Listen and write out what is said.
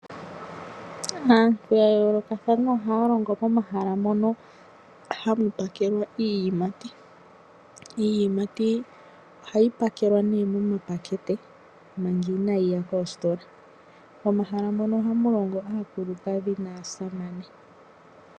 Aantu ya yoolokathana ohaya longo momahala mono hamu pakelwa iiyimati. Iiyimati ohayi oakelwa miipakete manga inayi ya koositola. Momahala mono ohamu longo aakulukadhi naasamane.